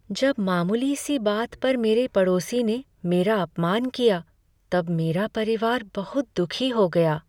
जब मामूली सी बात पर मेरे पड़ोसी ने मेरा अपमान किया तब मेरा परिवार बहुत दुखी हो गया।